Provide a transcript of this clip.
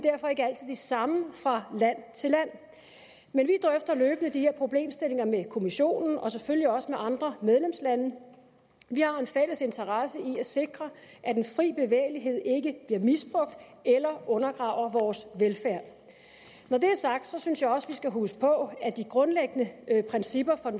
samme fra land til land men vi drøfter løbende de her problemstillinger med kommissionen og selvfølgelig også med andre medlemslande vi har en fælles interesse i at sikre at den frie bevægelighed ikke bliver misbrugt eller undergraver vores velfærd når det er sagt synes jeg også vi skal huske på at de grundlæggende principper for